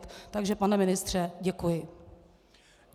Takže pane ministře, děkuji.